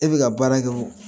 E bɛ ka baara kɛ o